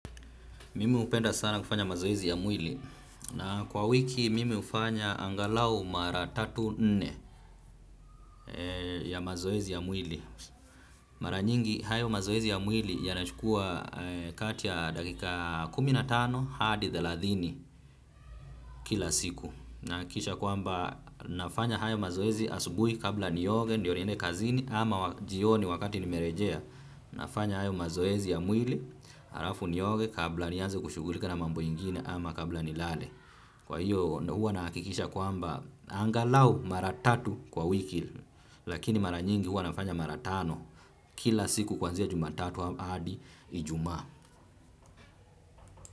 Mimi hupenda sana kufanya mazoezi ya mwili na kwa wiki mimi hufanya angalau mara tatu, nne ya mazoezi ya mwili. Mara nyingi hayo mazoezi ya mwili yanachukua kati ya dakika kumi na tano hadi thelathini kila siku. Nahakikisha kwamba nafanya hayo mazoezi asubuhi kabla nioge ndio niende kazini ama jioni wakati nimerejea nafanya hayo mazoezi ya mwili alafu nioge kabla nianze kushughulika na mambo ingine ama kabla nilale kwa hiyo hua nahakikisha kwamba angalau mara tatu kwa wiki lakini mara nyingi hua nafanya mara tano kila siku kuanzia jumatatu hadi ijumaa.